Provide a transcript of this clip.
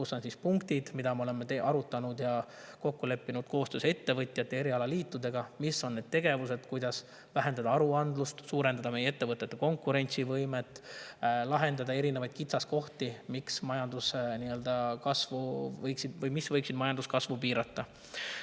Seal on punktid, mida me oleme arutanud ja milles oleme kokku leppinud koostöös ettevõtjate erialaliitudega: mis on need tegevused, kuidas vähendada aruandlust, suurendada meie ettevõtete konkurentsivõimet ja lahendada erinevaid kitsaskohti, mis võiksid majanduskasvu piirata.